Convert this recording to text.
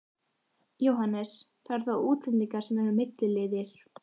Jóhannes: Það eru þá útlendingarnir sem eru milliliðir?